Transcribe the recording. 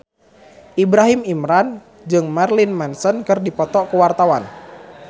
Ibrahim Imran jeung Marilyn Manson keur dipoto ku wartawan